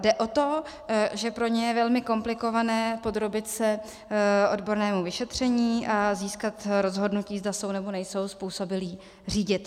Jde o to, že pro ně je velmi komplikované podrobit se odbornému vyšetření a získat rozhodnutí, zda jsou, nebo nejsou způsobilí řídit.